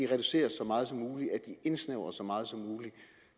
reduceres så meget som muligt at de indsnævres så meget som muligt